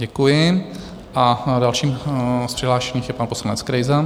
Děkuji a dalším z přihlášených je pan poslanec Krejza.